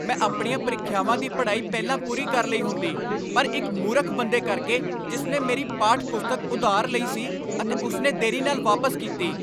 ਮੈਂ ਆਪਣੀਆਂ ਪ੍ਰੀਖਿਆਵਾਂ ਦੀ ਪੜ੍ਹਾਈ ਪਹਿਲਾਂ ਪੂਰੀ ਕਰ ਲਈ ਹੁੰਦੀ ਪਰ ਇੱਕ ਮੂਰਖ ਬੰਦੇ ਕਰਕੇ ਜਿਸ ਨੇ ਮੇਰੀ ਪਾਠ ਪੁਸਤਕ ਉਧਾਰ ਲਈ ਸੀ ਅਤੇ ਉਸ ਨੇ ਦੇਰੀ ਨਾਲ ਵਾਪਸ ਕੀਤੀ।